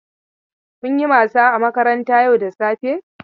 Kun yi wasa a makaranta yau da safe?